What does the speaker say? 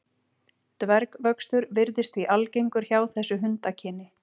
Dvergvöxtur virðist því algengur hjá þessu hundakyni.